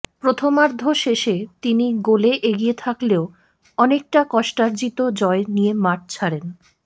প্রথমার্ধ শেষে তিন গোলে এগিয়ে থাকলেও অনেকটা কষ্টার্জিত জয় নিয়ে মাঠ ছাড়েন